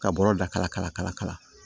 Ka bɔrɔ da kala kala kala kala